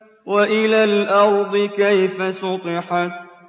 وَإِلَى الْأَرْضِ كَيْفَ سُطِحَتْ